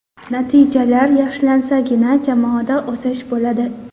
Natijalar yaxshilansagina jamoada o‘sish bo‘ladi”.